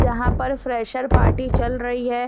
यहाँ पर fresher party चल रही है।